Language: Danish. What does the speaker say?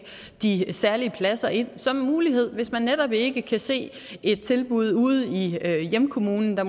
de særlige pladser ind som en mulighed hvis man netop ikke kan se et tilbud ude i hjemkommunen der